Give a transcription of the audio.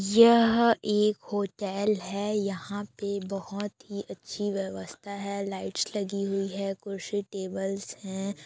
यह एक होटेल है यहाँ पे बहोत ही अच्छी व्यवस्था है लाइटस [ लगी हुई है कुर्सी टेबलस है।